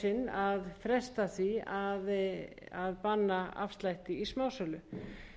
í fjórða sinn verið að fresta því að banna afslátt í